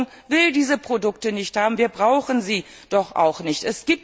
Die Bevölkerung will diese Produkte nicht haben! Wir brauchen sie doch auch nicht!